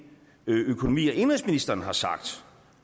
økonomi og indenrigsministeren har sagt